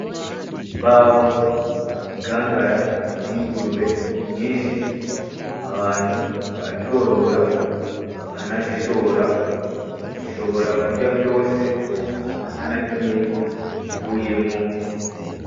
Imbaho, igikangara cingurube nyinshi abantu barazorora bakanazishora zishobora kurya vyose atanakimwe kivuyemwo .